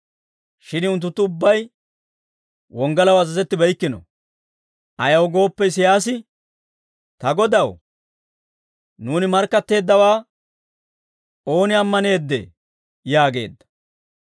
Shin unttunttu ubbay wonggalaw azazettibeykkino; ayaw gooppe Isiyaasi, «Ta Godaw, nuuni markkatteeddawaa ooni ammaneeddee?» yaageedda.